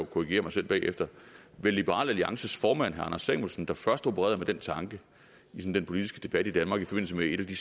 korrigere mig selv bagefter liberal alliances formand herre anders samuelsen der først opererede med den tanke i den politiske debat i danmark i forbindelse med et af de